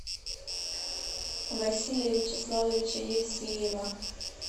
василия вячеславовича евсеева